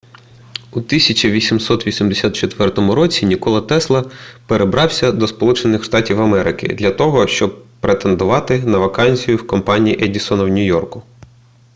у 1884 році нікола тесла перебрався до сполучених штатів америки для того щоб претендувати на вакансію в компанії едісона в нью-йорку